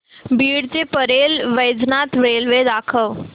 बीड ते परळी वैजनाथ रेल्वे दाखव